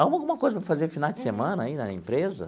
Arruma alguma coisa para fazer final de semana aí na empresa?